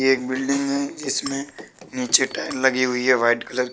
एक बिल्डिंग है जिसमें नीचे टायर लगी हुई हैं व्हाइट कलर की --